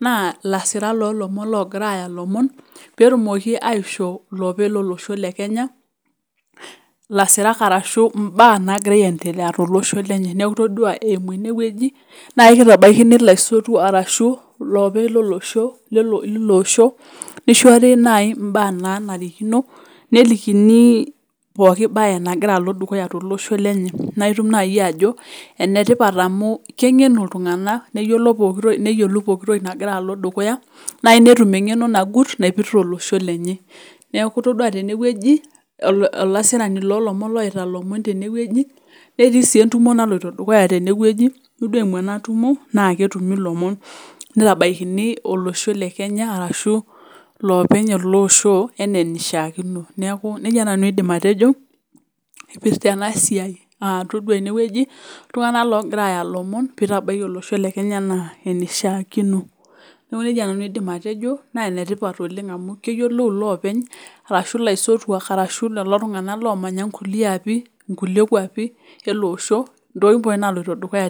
naa ilasirak lo lomon logira aya ilomon pee etumoki aisho ilopeny lo losho le kenya ilasirak ashi imbaa nagira aietelea to losho lenye. Neaku todua eimu ene wueji naa kitabaikini iltunganak ashu ilopeny lo losho neishori naaji imbaa naanarikino nelikini pooki bae nagira alo dukuya to losho lenye. Naitum naaji ajo enetipat amu kengenu iltunganak neyiolou pooki toki nagira alo dukuya naaji netum engeno nagut naipirta olosho lenye. Neaku todua tene wueji olasirani lo lomon loitaa lomon tene wueji netii sii etumo naloito dukuya tene wueji. Todua eimu ena tumo naa ketumi ilomon neitabakini olosho le kenya ashu, lopeny ele osho enaa enishakino. Neaku nejia nanu aidim atejo epirta ena siai ah todua ene wueji iltunganak logira aya ilomon pee itabaiki olosho le kenya enaa enishakino. Neaku nejia nanu aidim atejo naa enetipat oleng amu, keyiolou ilopeny arashu ilaisotuak arashu iltunganak lomanya ikulie kuapi ele osho tokitin pooki naloito dukuya.